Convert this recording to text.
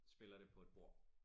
Spiller det på et bord